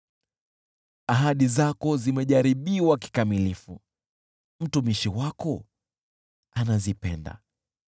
Ahadi zako zimejaribiwa kikamilifu, mtumishi wako anazipenda.